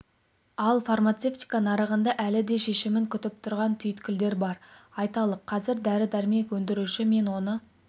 ал фармацевтика нарығында әлі де шешімін күтіп тұрған түйткілдер бар айталық қазір дәрі-дәрмек өндіруші мен оны